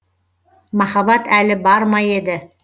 махаббат әлі бар ма еді